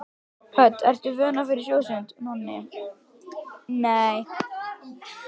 Hödd: Ertu vön að fara í sjósund?